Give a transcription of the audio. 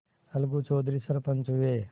अलगू चौधरी सरपंच हुए